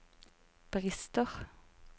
brister